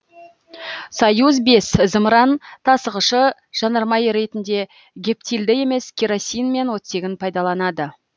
союз бес зымыран тасығышы жанармай ретінде гептилді емес керосин мен оттегін пайдаланады